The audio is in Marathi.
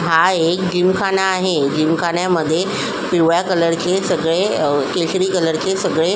हा एक जिमखाना आहे जिमखान्यामध्ये पिवळ्या कलरचे सगळे केशरी कलरचे सगळे--